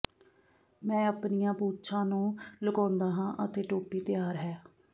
ਮੈਂ ਆਪਣੀਆਂ ਪੂਛਾਂ ਨੂੰ ਲੁਕਾਉਂਦਾ ਹਾਂ ਅਤੇ ਟੋਪੀ ਤਿਆਰ ਹੈ